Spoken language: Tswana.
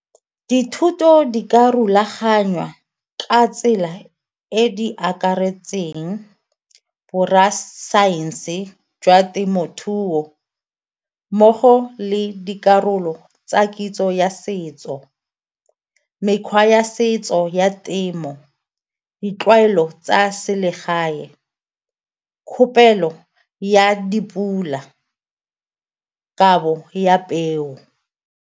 Dithuto di ka rulaganya ka tsela e di akaretseng borra saense jwa temothuo mmogo le dikarolo tsa kitso ya setso, mekgwa ya setso ya temo, ditlwaelo tsa selegae, kgopelo ya dipula, kabo ya peo.